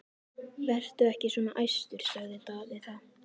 Vertu ekki svona æstur, sagði Daði þá.